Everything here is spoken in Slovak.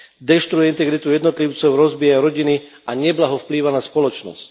Deštruuje integritu jednotlivcov, rozbíja rodiny a neblaho vplýva na spoločnosť.